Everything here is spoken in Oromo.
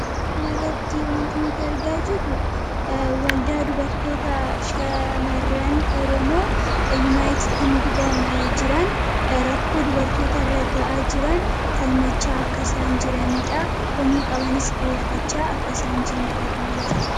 kanarratti wantoota nuti argaa jirru waldaa dubartoota shamaran oromoo yuunaayitid kingidam jiran rakkoo dubartoota raga'aa jiran falmachaa akkasaan jiraniidha komii qabanis dhi'eeffachaa akkasaan jiraha kana gara.